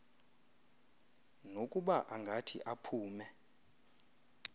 nokuba angathi aphume